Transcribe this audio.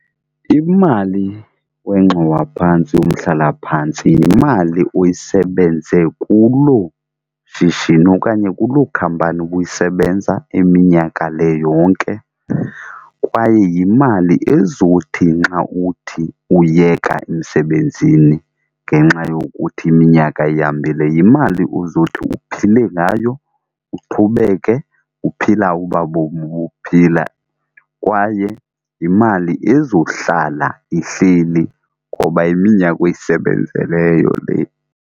Imali wengxowa phantsi yomhlalaphantsi yimali oyisebenze kuloo shishini okanye kuloo khampani ubuyisebenza iminyaka le yonke. Kwaye yimali ezothi nxa uthi uyeka emsebenzini ngenxa yokuthi iminyaka ihambile yimali ozothi uphile ngayo uqhubeke uphila obaa bomi ubuphila kwaye yimali ezohlala ihleli ngoba iminyaka oyisebenzeleyo le.